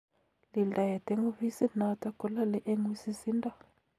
Lildaet eng ofisit notok kolale eng wisisindo